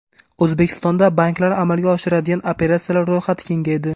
O‘zbekistonda banklar amalga oshiradigan operatsiyalar ro‘yxati kengaydi.